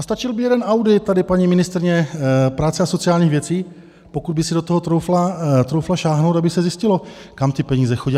A stačil by jeden audit, tady paní ministryně práce a sociálních věcí, pokud by si do toho troufla sáhnout, aby se zjistilo, kam ty peníze chodí.